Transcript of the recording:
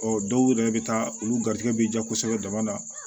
Ɔ dɔw yɛrɛ bɛ taa olu garijɛgɛ bɛ diya kosɛbɛ dama